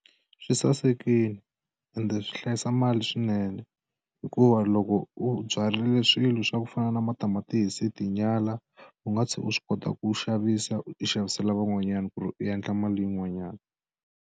Swi sasekile ende swi hlayisa mali swinene hikuva loko u byarile swilo swa ku fana na matamatisi tinyala u nga tlhela u swi kota ku xavisa u xavisela van'wanyana ku ri u endla mali yin'wanyana.